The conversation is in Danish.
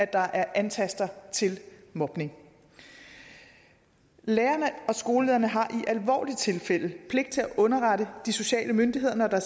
der er ansatser til mobning lærerne og skolelederne har i alvorlige tilfælde pligt til at underrette de sociale myndigheder når der